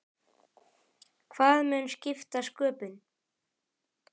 Hvað mun skipta sköpum?